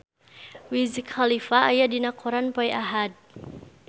Wiz Khalifa aya dina koran poe Ahad